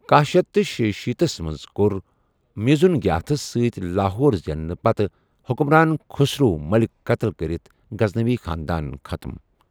کہہَ شیتھ تہٕ شیشیٖتھ تھَس منز کور مُیزن گِیاتھس سۭتۍ لاہور زیننہٕ پتہٕ حکُران خسرو ملِک قتل کرِتھ گزنوی خاندان ختم ۔